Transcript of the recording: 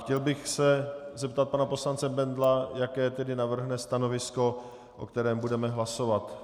Chtěl bych se zeptat pana poslance Bendla, jaké tedy navrhne stanovisko, o kterém budeme hlasovat.